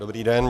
Dobrý den.